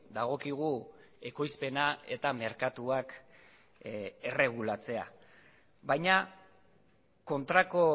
dagokigu ekoizpena eta merkatuak erregulatzea baina kontrako